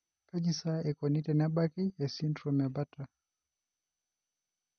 Kaji sa eikoni tenebaki esindirom eBartter?